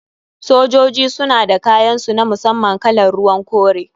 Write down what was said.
Sojoji suna da kayan su na musamman kalar ruwan kore.